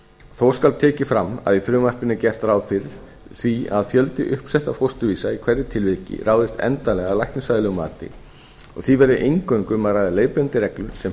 þó skal tekið fram að í frumvarpinu er gert ráð fyrir því að fjöldi uppsettra fósturvísa í hverju tilviki ráðist endanlega af læknisfræðilegu mati og því verði eingöngu um að ræða leiðbeinandi reglur sem heimild